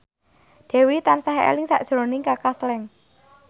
Dewi tansah eling sakjroning Kaka Slank